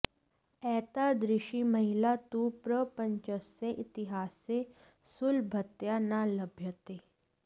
एतादृशी महिला तु प्रपञ्चस्य इतिहासे सुलभतया न लभ्यते